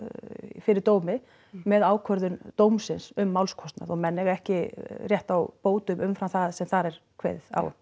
fyrir dómi með ákvörðun dómsins um málskostnað og menn eiga ekki rétt á bótum umfram það sem þar er kveðið á